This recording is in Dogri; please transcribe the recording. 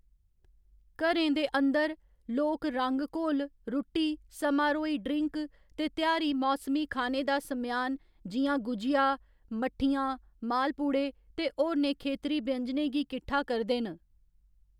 घरें दे अंदर, लोक रंग घोल, रुट्टी, समारोही ड्रिंक ते तेहारी मौसमी खाने दा समेआन जि'यां गुझिया, मट्ठियां, मालपूड़े ते होरनें खेतरी व्यंजनें गी किठ्ठा करदे न।